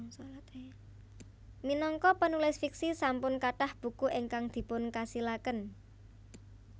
Minangka penulis fiksi sampun kathah buku ingkang dipun kasilaken